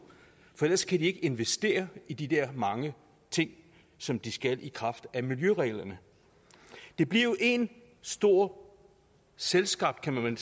for ellers kan de ikke investere i de der mange ting som de skal i kraft af miljøreglerne det bliver jo en stor selvskabt kan man